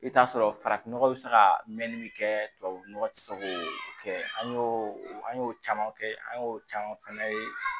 I bɛ t'a sɔrɔ farafin nɔgɔ bɛ se ka mɛn ni min kɛ tubabu nɔgɔ tɛ se k'o kɛ an y'o an y'o caman kɛ an y'o caman fɛnɛ ye